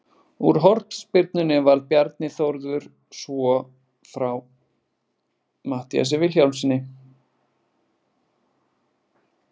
Úr hornspyrnunni varði Bjarni Þórður svo frá Matthíasi Vilhjálmssyni.